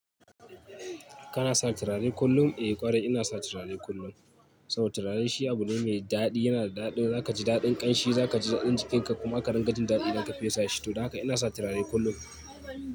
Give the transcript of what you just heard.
Kana sa turare kullum? Eh ƙwarai ina sa turare kullum. Saboda turare shi abu ne mai daɗi, yana da daɗin za ka ji daɗin ƙanshi, za ka ji daɗin jikinka kuma aka runga jin daɗi idan ka fesa shi to. Don haka ina sa turare kullum.